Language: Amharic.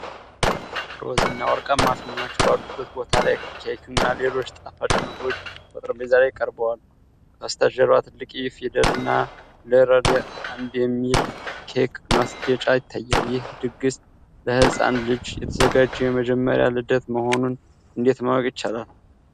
ሮዝ እና ወርቃማ ፊኛዎች ባሉበት ቦታ ላይ ከክና ሌሎች ጣፋጭ ምግቦች በጠረጴዛ ላይ ቀርበዋል። ከበስተጀርባ ትልቅ 'E' ፊደል እና 'ELIORA 1'የሚል የኬክ ማስጌጫ ይታያል። ይህ ድግስ ለህጻን ልጅ የተዘጋጀ የመጀመሪያ ልደት መሆኑን እንዴት ማወቅ ይቻላል?